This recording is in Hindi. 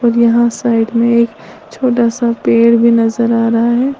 और यहां साइड में एक छोटा सा पेड़ भी नजर आ रहा है।